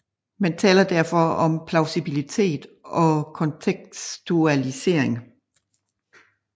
Man taler derfor om plausibilitet og kontekstualisering